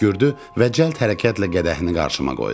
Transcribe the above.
Öskürdü və cəld hərəkətlə qədəhini qarşıma qoydu.